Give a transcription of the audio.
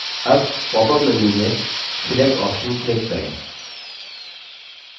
अब popअप menu में select option click करें